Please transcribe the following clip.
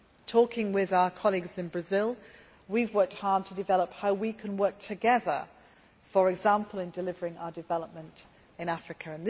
Talking with our colleagues in Brazil, we have worked hard to develop how we can work together, for example in delivering our development in Africa.